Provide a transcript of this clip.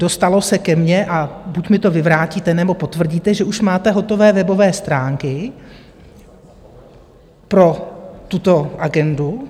Dostalo se ke mně - a buď mi to vyvrátíte, nebo potvrdíte - že už máte hotové webové stránky pro tuto agendu.